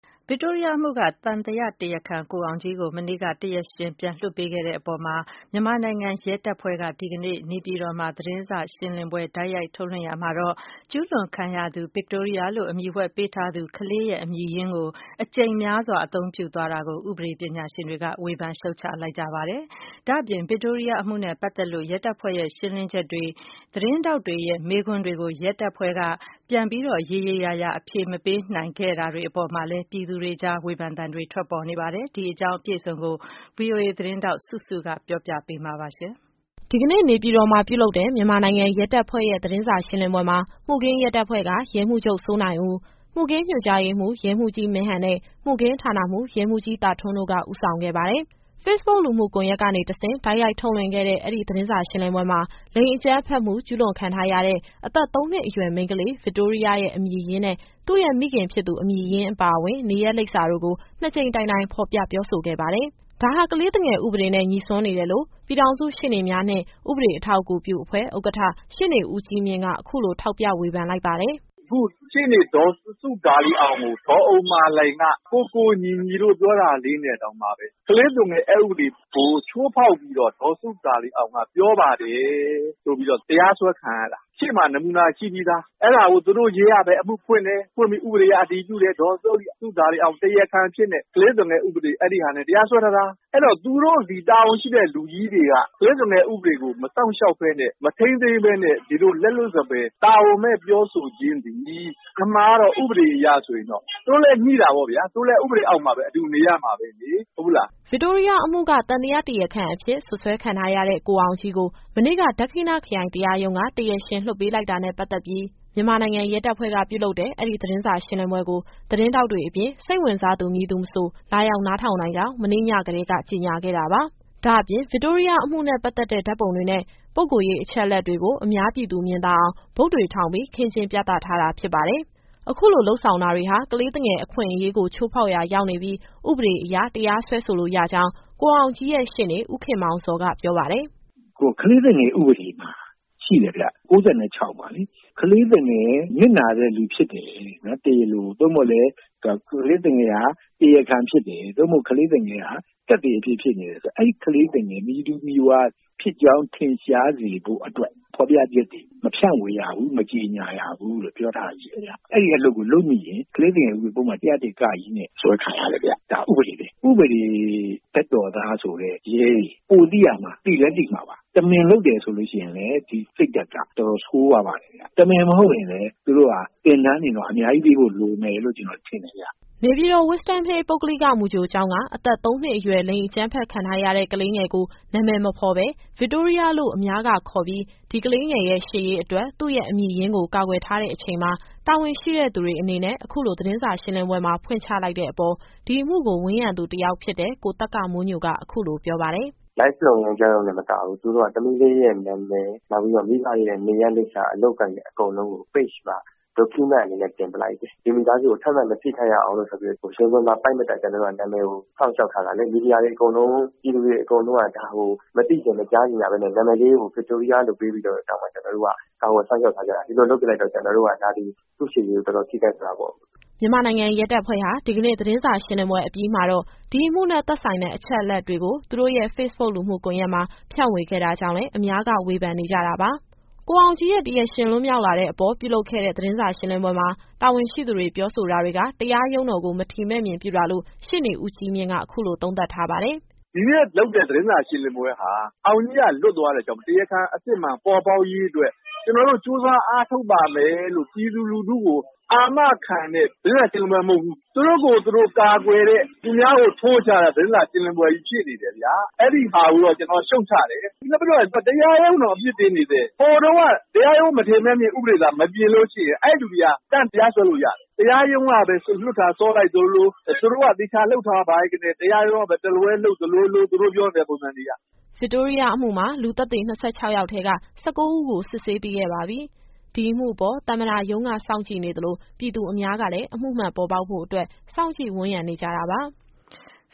ဗစ်တိုးရီးယားအမှုက သံသယတရားခံကိုအောင်ကြီးကို မနေ့က တရားရှင် ပြန်လွှတ်ပေးခဲ့တဲ့အပေါ် မြန်မာနိုင်ငံရဲတပ်ဖွဲ့က ဒီကနေ့ နေပြည်တော်မှာ သတင်းစာ ရှင်းလင်းပွဲ တိုက်ရိုက်ထုတ်လွှင့်ရာမှာ ကျူးလွန်ခံရသူ ဗစ်တိုးရီးယားရဲ့ အမည်ရင်းကို အကြိမ်များစွာ အသုံးပြုသွားတာကို ဥပဒေပညာရှင်တွေက ဝေဖန် ရှုတ်ချလိုက်ကြပါတယ်။ ဒါ့အပြင် ဗစ်တိုးရီးယားအမှုနဲ့ပတ်သက်လို့ ရဲတပ်ဖွဲ့ရဲ့ ရှင်းလင်းချက်တွေနဲ့ သတင်းထောက်တွေရဲ့မေးမြန်းမှုတွေကို ရဲတပ်ဖွဲ့က ရေရေရာရာအဖြေမပေးနိုင်ခဲ့တဲ့အပေါ်မှာလည်း ပြည်သူတွေ ကြားမှာ ဝေဖန်သံတွေ ထွက်ပေါ်နေပါတယ်။ ဒီအကြောင်း အပြည့်အစုံကို ဗွီအိုအေသတင်းထောက် စုစုက ပြောပြပေးမှာပါရှင်။ ဒီကနေ့ နေပြည်တော်မှာ ပြုလုပ်တဲ့ မြန်မာနိုင်ငံရဲတပ်ဖွဲ့ရဲ့ သတင်းစာရှင်းလင်းပွဲမှာ မှုခင်းရဲတပ်ဖွဲ့က ရဲမှူးချုပ် စိုးနိုင်ဦး၊ မှုခင်းညွှန်ကြားရေးမှူး ရဲမှူးကြီးမင်းဟန်နဲ့ မှုခင်းဌာနမှူး ရဲမှူးကြီး သာထွန်းတို့က ဦးဆောင်ခဲ့ပါတယ်။ ဖေ့ဘုတ် လူမှုကွန်ယက်ကနေ တဆင့် တိုက်ရိုက်ထုတ်လွှင့်ခဲ့တဲ့ ဒီသတင်းစာ ရှင်းလင်းပွဲမှာ လိင်အကြမ်းဖက်မှု ကျူးလွန်ခံထားရတဲ့ အသက်သုံးနှစ်အရွယ် မိန်းကလေး ဗစ်တိုးရီးယားရဲ့ အမည်ရင်းနဲ့ သူ့ရဲ့ မိခင်ဖြစ်သူ အမည်ရင်းအပါအဝင် နေရပ်လိပ်စာတို့ကို နှစ်ကြိမ်တိုင်တိုင် ဖော်ပြပြောဆိုခဲ့ပါတယ်။ ဒါဟာ ကလေးသူငယ် ဥပဒေနဲ့ ညှိစွန်းနေတယ်လို့ ပြည်ထောင်စုရှေ့နေများနှင့် ဥပဒေအထောက်အကူပြု အဖွဲ့ ဥက္ကဋ္ဌ ရှေ့နေဦးကြီးမြင့်က အခုလို ထောက်ပြဝေဖန် လိုက်ပါတယ်။ “အခု ရှေ့နေဒေါ်စုဒါလီအောင်ကို ဒေါ်ဥမ္မာလှိုင်က ကိုကို၊ ညီညီလို့ ပြောတာလေးနဲ့တောင်မှပဲ ကလေးသူငယ် အက်ဥပဒေကို ချိုးဖောက်ပြီးတော့ ဒေါ်စုဒါလီအောင်က ပြောပါတယ်ဆိုပြီးတော့ တရားစွဲခံရတာ။ ရှေ့မှာ နမူနာရှိပြီးသား။ အဲဒါကို သူတို့ရဲကပဲ အမှုဖွင့်တယ်၊ ဖွင့်ပြီး ဥပဒေအရ အတည်ပြုတယ်။ ဒေါ်စုဒါလီအောင် တရားခံအဖြစ်နဲ့ ကလေးသူငယ်ဥပဒေ အဲဒီဟာနဲ့ တရားစွဲထားတာ။ အဲတော့ သူတို့သည် တာဝန်ရှိတဲ့ လူကြီးတွေက ကလေးသူငယ်ဥပဒေကို မစောင့်ရှောက်ဘဲနဲ့ မထိန်းသိမ်းဘဲနဲ့ ဒီလိုလက်လွတ်စပယ် တာဝန်မဲ့ပြောဆိုခြင်းသည် အမှန်က ဥပဒေအရဆိုရင်တော့ သူတို့လည်းငြိတာပေါ့ဗျာ။ သူတို့လည်း ဥပဒေအောက်မှာပဲ အတူနေရမှာပဲလေ။ မဟုတ်ဘူးလား။” ဗစ်တိုးရီးယားအမှုက သံသယ တရားခံအဖြစ် စွပ်စွဲခံထားရတဲ့ ကိုအောင်ကြီးကို မနေ့က ဒက္ခိဏခရိုင်တရားရုံးက တရားရှင် လွှတ်ပေးလိုက်တာနဲ့ ပတ်သက်ပြီး မြန်မာနိုင်ငံ ရဲတပ်ဖွဲ့က ပြုလုပ်တဲ့ အဲဒီသတင်းစာရှင်းလင်းပွဲကို သတင်းထောက်တွေအပြင် စိတ်ဝင်စားသူ မည်သူမဆို လာရောက် နားထောင်နိုင်ကြောင်း မနေ့ကတည်းက ကြေညာခဲ့တာပါ။ ဒါ့အပြင် ဗစ်တိုးရီးယားအမှုနဲ့ ပတ်သက်တဲ့ ဓာတ်ပုံတွေနဲ့ ပုဂ္ဂိုလ်ရေး အချက်အလက်တွေကို အများပြည်သူ မြင်သာအောင် ဘုတ်တွေ ထောင်ပြီး ခင်းကျင်းပြသထားတာ ဖြစ်ပါတယ်။ အခုလို လုပ်ဆောင်တာတွေဟာ ကလေးသူငယ်အခွင့်အရေးကို ချိုးဖောက်ရာ ရောက်နေပြီး ဥပဒေအရ တရားစွဲလို့ရကြောင်း ကိုအောင်ကြီးရဲ့ ရှေ့နေ ဦးခင်မောင်ဇော်က ပြောပါတယ်။ “ကလေးသူငယ် ဥပဒေမှာ ရှိတယ်ဗျ ၉၆ မှာလေ။ ကလေးသူငယ် နစ်နာတဲ့သူ ဖြစ်တယ်၊ တရားလို သို့မဟုတ်လည်း ကလေးသူငယ်ဟာ တရားခံဖြစ်တယ်။ သို့မဟုတ် ကလေးသူငယ်ဟာ သက်သေအဖြစ် ဖြစ်နေတယ်ဆို အဲဒီကလေးသူငယ် မည်သူမည်ဝါဖြစ်ကြောင်း ထင်ရှားစေဖို့အတွက် မဖြန့်ဝေရဘူး၊ မကြေညာရဘူးလို့ ပြောထားတာရှိတယ်ဗျ။ အဲဒီအလုပ်ကို လုပ်မိရင် ကလေးသူငယ် ဥပဒေပုဒ်မ ၁၀၁ (က) နဲ့ စွဲခံရတယ်ဗျ။ ဒါဥပေဒပဲ။ ဥပဒေဘက်တော်သားဆိုတဲ့ ရဲတွေ ပိုသိရမှာ၊ သိလည်းသိမှာပါ။ တမင်လုပ်တယ်ဆိုရင်လည်း ဒီစိတ်ဓာတ်က တော်တော် ဆိုးရွားပါတယ်ဗျ။ တမင်မဟုတ်ရင်လည်း သူတို့ဟာ သင်တန်းတွေကို အများကြီးပေးဖို့ လိုမယ်လို့ ကျနော် ထင်တယ်ဗျ။” နေပြည်တော် Wisdom Hill ပုဂ္ဂလိက မူကြိုကျောင်းက အသက်သုံးနှစ်အရွယ် လိင်အကြမ်းဖက်ခံထားရတဲ့ ကလေးငယ်ကို နာမည် မဖေါ်ပဲ ဗစ်တိုးရီးယားလို့ အများကခေါ်ပြီး ဒီ ကလေးငယ်ရဲ့ ရှေ့ရေးအတွက် သူ့ရဲ့အမည်ရင်းကို ကာကွယ်ထားတဲ့အချိန်မှာ တာဝန်ရှိတဲ့သူတွေ အနေနဲ့ အခုလို သတင်းစာရှင်းလင်းပွဲမှာ ဖွင့်ချလိုက်တဲ့အပေါ် ဒီအမှုကို ဝန်းရံသူတယောက်ဖြစ်တဲ့ ကိုသက္ကမိုးညိုက အခုလိုပြောပါတယ်။ “Live လွှင့်ပြီး ပြောရုံတင်မကဘူး။ သမီးလေးရဲ့ နာမည် နောက်ပြီးတော့ မိဘတွေရဲ့ နေရပ်လိပ်စာ၊ အလုပ်အကိုင်တွေ အကုန်လုံးကို Page မှာ Document အနေနဲ့ တင်လိုက်တယ်။ ဒီမိသားစုကို ထပ်မံမထိခိုက်ရအောင်ဆိုပြီးတော့ ရင်ခွင်မှာပိုက်မတတ် ကျနော်တို့က နာမည်ကို စောင့်ရှောက်ထားတာလေ။ မီဒီယာတွေအကုန်လုံး၊ ပြည်သူတွေအကုန်လုံးကလည်း ဒါကို မသိချင်၊ မကြားချင်ကြဘဲနဲ့ နာမည်လေးကို ဗစ်တိုးရီးယားလို့ ပေးပြီးတော့တောင်မှ ကျနော်တို့က ကာကွယ်စောင့်ရှောက်ထားကြတာ။ ဒီလိုလုပ်ပစ်လိုက်တော့ ကျနော်တို့က ဒါသည် သူ့ရှေ့ရေးကို တော်တော် ထိခိုက်သွားတာပေါ့။” မြန်မာနိုင်ငံရဲတပ်ဖွဲ့ဟာ ဒီကနေ့သတင်းစာရှင်းလင်းပွဲအပြီးမှာတော့ ဒီအမှုနဲ့သက်ဆိုင်တဲ့ အချက်အလက်တွေကို သူတို့ရဲ့ဖေ့ဘုတ် လူမှုကွန်ယက်မှာ ဖြန့်ဝေခဲ့တာ ကြောင့်လည်း အများက ဝေဖန်နေကြတာပါ။ ကိုအောင်ကြီးရဲ့ တရားရှင်လွတ်မြောက်လာတဲ့အပေါ် ပြုလုပ်ခဲ့တဲ့ သတင်းစာ ရှင်းလင်းပွဲမှာ တာဝန်ရှိသူတွေ ပြောဆိုတာတွေက တရားရုံးတော်ကို မထီမဲ့မြင်ပြုတာလို့ ရှေ့နေ ဦးကြီးမြင့်က အခုလိုသုံးသပ်ထားပါတယ်။ “ဒီနေ့လုပ်တဲ့ သတင်းစာ ရှင်းလင်းပွဲဟာ အောင်ကြီးက လွတ်သွားတာကြောင့် တရားခံအစစ်အမှန် ပေါ်ပေါက်ရေးအတွက် ကျနော်တို့ကြိုးစား အားထုတ်ပါမယ်လို့ ပြည်သူလူထုကို အာမခံတဲ့ သတင်းစာရှင်းလင်းပွဲ မဟုတ်ဘူး။ သူတို့ကိုယ်သူတို့ ကာကွယ်တဲ့ သူများကို ထိုးချတဲ့ သတင်းစာရှင်းလင်းပွဲကြီး ဖြစ်နေတယ်ဗျာ။ အဲဒီဟာကိုတော့ ကျနော်ရှုတ်ချတယ်။ နောက်ပြီးတော့ တရားရုံးတောင် အပြစ်တင်နေတယ်။ ဟိုတုန်းက တရားရုံးမထီမဲ့မြင် ဥပဒေသာ မပြင်လို့ရှိရင် အဲလူတွေကို တန်းတရားစွဲလို့ရတယ်။ တရားရုံးကပဲ လွှတ်တာစောလိုက်သလိုလို သူတို့က သေချာလုပ်ထားပါလျက်နဲ့ တရားရုံးကပဲ တလွဲလုပ်လိုက်သလိုလို။ သူတို့ပြောတဲ့ ပုံစံတွေက။” ဗစ်တိုးရီးယားအမှုမှာ လူသက်သေ ၂၆ ယောက်ထဲက ၁၉ ဦးကို စစ်ဆေးပြီးခဲ့ပါပြီ။ ဒီအမှုအပေါ် သမ္မတရုံးကစောင့်ကြည့်နေသလို ပြည်သူအများကလည်း အမှုမှန်ပေါ်ပေါက်ဖို့အတွက် စောင့်ကြည့်ဝန်းရံနေကြတာပါ။